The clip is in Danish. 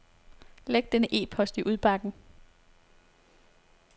Læg denne e-post i udbakken.